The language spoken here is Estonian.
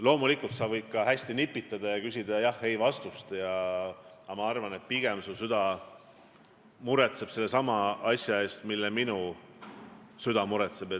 Loomulikult, sa võid ka nipitada ja küsida jah/ei-vastust, aga ma arvan, et pigem muretseb sinu süda sellesama asja pärast, mille pärast minu süda muretseb.